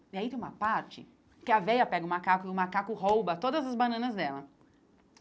E aí tem uma parte que a véia pega o macaco e o macaco rouba todas as bananas dela.